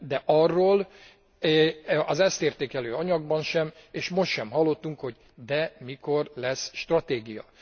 De arról az ezt értékelő anyagban sem, és most sem hallottunk, hogy de mikor lesz stratégia.